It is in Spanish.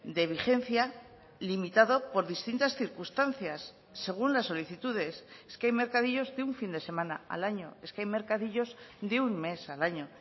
de vigencia limitado por distintas circunstancias según las solicitudes es que hay mercadillos de un fin de semana al año es que hay mercadillos de un mes al año